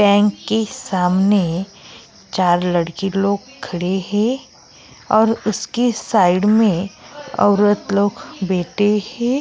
Bank के सामने चार लड़के लोग खड़े हैं और उसके साइड में औरत लोग बैठे हैं।